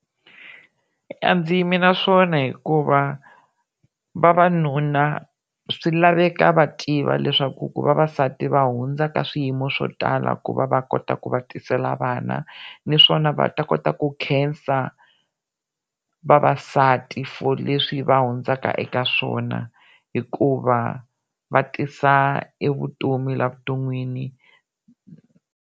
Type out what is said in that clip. A ndzi yimi na swona hikuva vavanuna swi laveka va tiva leswaku ku vavasati va hundza ka swiyimo swo tala ku va va kota ku va tisela vana naswona va ta kota ku khensa vavasati for leswi va hundzaka eka swona hikuva va tisa evutomi la vuton'wini.